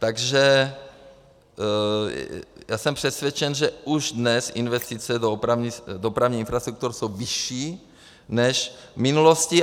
Takže já jsem přesvědčen, že už dnes investice do dopravních infrastruktur jsou vyšší než v minulosti.